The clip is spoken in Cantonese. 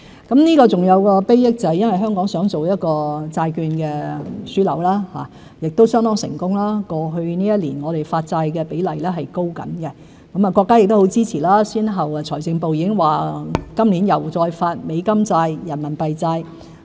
還有一項禆益，就是香港擬發展為債券樞紐，亦相當成功，過去一年我們的發債比例正在提高；國家亦很支持，財政部先後表示今年會再發行美元債券、人民幣債券。